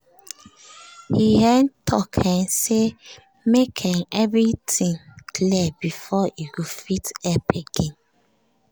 he um talk um say make um everything clear before e go fit help again